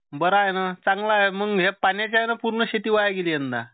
बरंय ना चांगलंए मग ह्या पाण्याच्या यानं पूर्ण शेती वाया गेली यंदा.